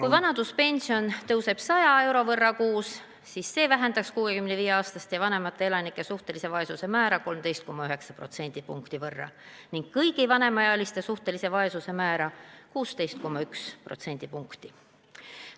Kui vanaduspension tõuseb 100 euro võrra kuus, siis see vähendaks 65-aastaste ja vanemate elanike suhtelise vaesuse määra 13,9 protsendipunkti ning kõigi vanemaealiste suhtelise vaesuse määra 16,1 protsendipunkti.